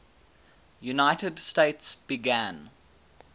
united states began